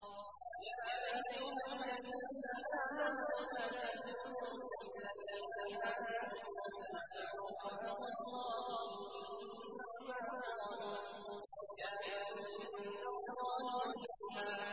يَا أَيُّهَا الَّذِينَ آمَنُوا لَا تَكُونُوا كَالَّذِينَ آذَوْا مُوسَىٰ فَبَرَّأَهُ اللَّهُ مِمَّا قَالُوا ۚ وَكَانَ عِندَ اللَّهِ وَجِيهًا